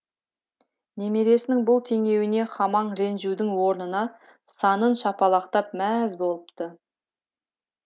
немересінің бұл теңеуіне хамаң ренжудің орнына санын шапалақтап мәз болыпты